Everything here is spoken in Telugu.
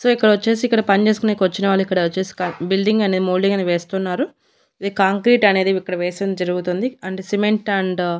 సో ఇక్కడొచ్చేసి ఇక్కడ పని చేసుకొనేనికొచ్చిన వాళ్ళు ఇక్కడ వచ్చేసి బిల్డింగ్ అనే మోల్డింగ్ అనే వేస్తున్నారు ఇది కాంక్రీట్ అనేది ఇక్కడ వేసమ్ జరుగుతుంది అండ్ సిమెంట్ అండ్ --